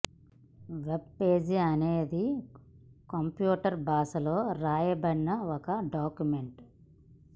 web page అనేది అనే computer భాషలో రాయబడిన ఒక డాక్యుమెంట్